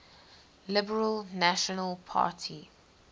liberal national party